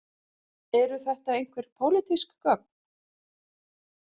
Eru þetta einhver pólitísk gögn